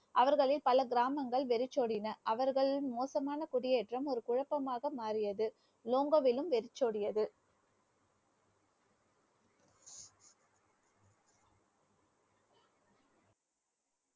அவர்களில் பல கிராமங்கள் வெறிச்சோடின. அவர்களின் மோசமான குடியேற்றம், ஒரு குழப்பமாக மாறியது லோங்கோவிலும் வெறிச்சோடியது